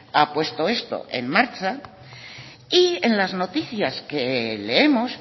ha puesto esto en marcha y en las noticias que leemos